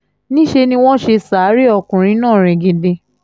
níṣẹ́ ni wọ́n ṣe ṣàárẹ̀ ọkùnrin náà ringindin